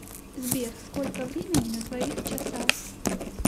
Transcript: сбер сколько времени на твоих часах